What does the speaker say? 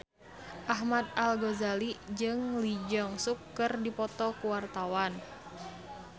Ahmad Al-Ghazali jeung Lee Jeong Suk keur dipoto ku wartawan